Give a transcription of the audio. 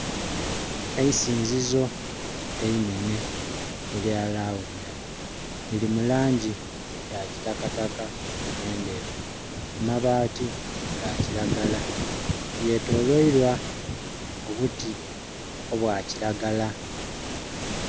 Eisinzizo einenhe erya lawunda liri mu langi eya kitakataka ne ndheru amabaati ga kiragala, lye tolweilwa obuti obwa kiragala.